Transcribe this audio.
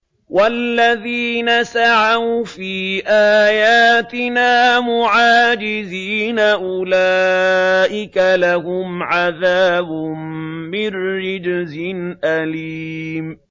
وَالَّذِينَ سَعَوْا فِي آيَاتِنَا مُعَاجِزِينَ أُولَٰئِكَ لَهُمْ عَذَابٌ مِّن رِّجْزٍ أَلِيمٌ